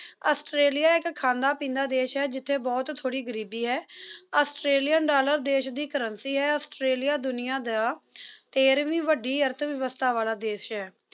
Australia ਇੱਕ ਖਾਂਦਾ ਪੀਂਦਾ ਦੇਸ਼ ਹੈ ਜਿੱਥੇ ਬਹੁਤ ਥੋੜੀ ਗਰੀਬੀ ਹੈ ਆਸਟ੍ਰੇਲੀਅਨ ਡਾਲਰ ਦੇਸ਼ ਦੀ currency ਹੈ ਆਸਟ੍ਰੇਲੀਆ ਦੁਨੀਆਂ ਦਾ ਹ ਤੇਰਵੀਂ ਵੱਡੀ ਰਹਿ ਵਿਵਸਥਾ ਵਾਲਾ ਦੇਸ਼ ਹੈ